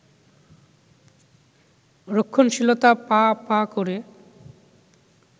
রক্ষণশীলতা পা পা করে